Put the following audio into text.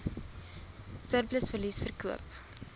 surplus verliese verkoop